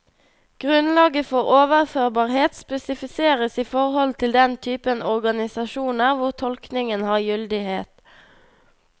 Grunnlaget for overførbarhet spesifiseres i forhold til den typen organisasjoner hvor tolkningen har gyldighet.